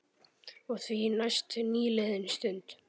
Og því næst nýliðin stund.